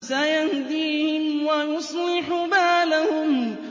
سَيَهْدِيهِمْ وَيُصْلِحُ بَالَهُمْ